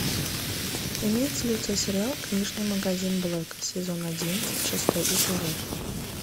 имеется ли у тебя сериал книжный магазин блэка сезон одиннадцать шестой эпизод